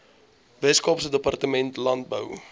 weskaapse departement landbou